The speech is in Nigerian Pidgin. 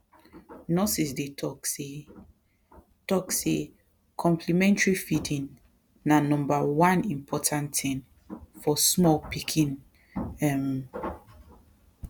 nurses dey talk say talk say complementary feeding na number one important thing for small pikin um